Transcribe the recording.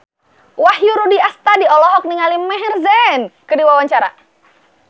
Wahyu Rudi Astadi olohok ningali Maher Zein keur diwawancara